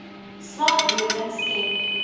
swak lewering skep